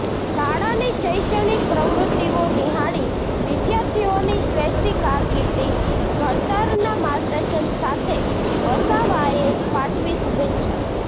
શાળાની શૈક્ષણિક પ્રવૃત્તિઓ નિહાળી વિદ્યાર્થીઓની શ્રેષ્ઠી કારકિર્દી ઘડતરના માર્ગદર્શન સાથે વસાવાએ પાઠવી શુભેચ્છા